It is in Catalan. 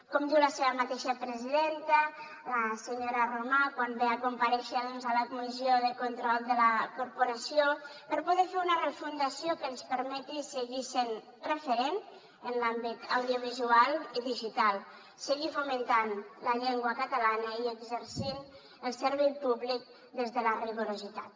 com diu la seva mateixa presidenta la senyora romà quan ve a comparèixer a la comissió de control de la corporació per poder fer una refundació que ens permeti seguir sent referent en l’àmbit audiovisual i digital seguir fomentant la llengua catalana i exercint el servei públic des de la rigorositat